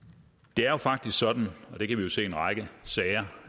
det er jo faktisk sådan og det kan vi jo se i en række sager